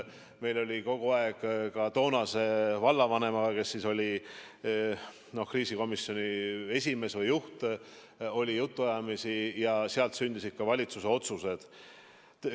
Meil oli kogu aeg ka toonase vallavanemaga, kes oli kriisikomisjoni esimees või juht, jutuajamisi ja seal sündisid ka valitsuse otsused.